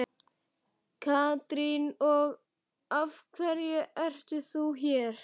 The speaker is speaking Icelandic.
Katrín: Og af hverju ert þú hér?